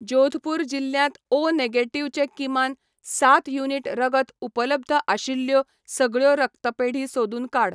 जोधपूर जिल्ल्यांत O negative चे किमान सात युनिट रगत उपलब्ध आशिल्ल्यो सगळ्यो रक्तपेढी सोदून काड.